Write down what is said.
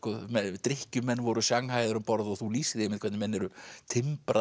drykkjumenn voru sjanghæaðir um borð og þú lýsir því hvernig menn eru